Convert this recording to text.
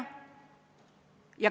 Aga küll ma saan seda Mihhaili käest küsida.